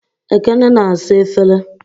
Ekene na-asa efere.